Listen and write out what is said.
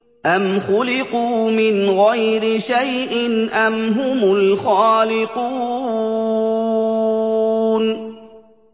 أَمْ خُلِقُوا مِنْ غَيْرِ شَيْءٍ أَمْ هُمُ الْخَالِقُونَ